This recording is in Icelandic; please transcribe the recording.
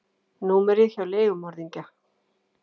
númerið hjá leigumorðingja.